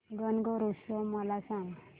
गणगौर उत्सव मला सांग